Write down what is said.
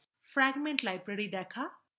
fragment library দেখা